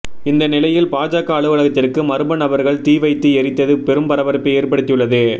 இந்த நிலையில் பாஜக அலுவலகத்திற்கு மர்ம நபர்கள் தீ வைத்து எரித்தது பெரும் பரபரப்பை ஏற்படுத்தி உள்ளது